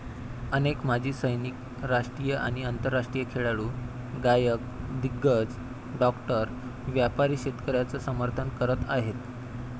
अनेक माजी सैनिक, राष्ट्रीय आणि आंतरराष्ट्रीय खेळाडू, गायक, दिग्गज, डॉक्टर, व्यापारी शेतकऱ्यांचं समर्थन करत आहेत.